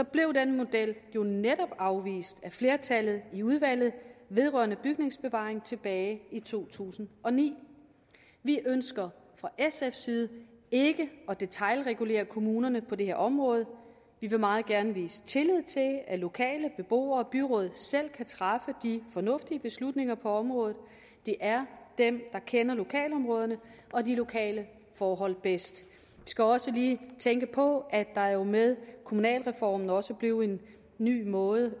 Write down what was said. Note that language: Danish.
blev den model jo netop afvist af flertallet i udvalget vedrørende bygningsbevaring tilbage i to tusind og ni vi ønsker fra sfs side ikke at detailregulere kommunerne på det her område vi vil meget gerne vise tillid til at at lokale beboere og byråd selv kan træffe de fornuftige beslutninger på området det er dem der kender lokalområderne og de lokale forhold bedst vi skal også lige tænke på at der jo med kommunalreformen også blev en ny måde